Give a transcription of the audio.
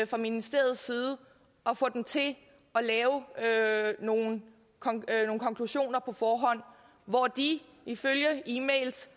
fra ministeriets side at få dem til at lave nogle konklusioner på forhånd hvor de ifølge e mails